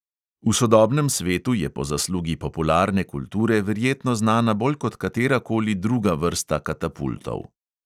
V sodobnem svetu je po zaslugi popularne kulture verjetno znana bolj kot katera koli druga vrsta katapultov.